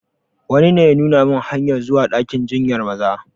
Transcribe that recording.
Wani ne ya nuna min hanyar zuwa dakin jinyar Maza.